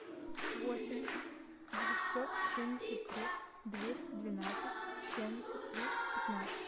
восемь девятьсот семьдесят три двести двенадцать семьдесят три пятнадцать